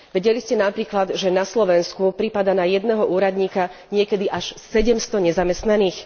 Vedeli ste napríklad, že na Slovensku pripadá na jedného úradníka niekedy až 700 nezamestnaných?